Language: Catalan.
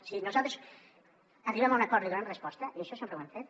si nosaltres arribem a un acord hi donem resposta i això sempre ho hem fet